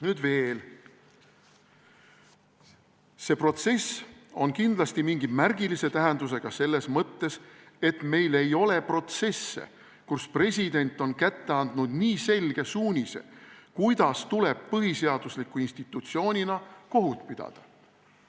Nüüd veel: "See on kindlasti mingi märgilise tähendusega selles mõttes, et meil ei ole protsesse, kus president on kätte andnud nii selge suunise, kuidas tuleb põhiseadusliku institutsioonina kohut pidada.